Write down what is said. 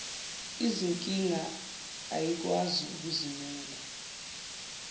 izinkinga ayikwazi ukuzimela